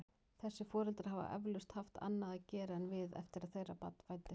Þessir foreldrar hafa eflaust haft annað að gera en við eftir að þeirra barn fæddist.